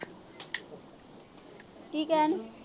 ਕੀ ਕਹਿਣ ਦਈ।